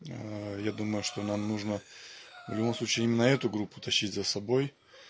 я думаю что нам нужно в любом случае на эту группу тащить за собой